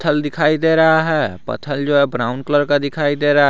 दिखाई दे रहा है पत्थल जो है ब्राउन कलर का दिखाई दे रहा--